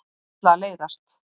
Ætla að leiðast.